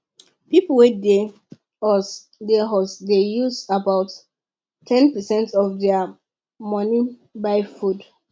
people wey dey us dey us dey use about ten percent of their money buy food